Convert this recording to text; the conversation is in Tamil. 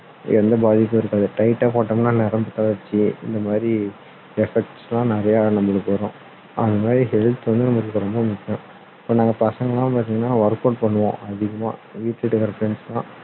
எந்த பாதிப்பும் இருக்காது tight டா போட்டோம்னா நரம்பு தளர்ச்சி இந்த மாதிரி effects லாம் நிறைய நம்மளுக்கு வரும் அது மாதிரி health வந்து நம்மளுக்கு ரொம்ப முக்கியம் இப்போ நாங்க பசங்க எல்லாம் பார்த்தீங்கன்னா work out பண்ணுவோம் அதிகமா வீட்டுகிட்ட இருக்க friends லாம்